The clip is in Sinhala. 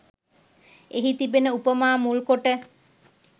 එහි තිබෙන උපමා මුල් කොට